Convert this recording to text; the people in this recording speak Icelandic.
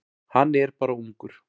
Hann er bara ungur.